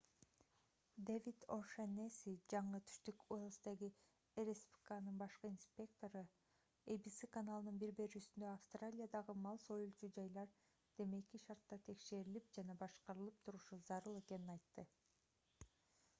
дэвид о’шеннесси жаңы түштүк уэльстеги rspca'нын башкы инспектору abc каналынын бир берүүсүндө австралиядагы мал союлуучу жайлар демейки шартта текшерилип жана башкарылып турушу зарыл экенин айтты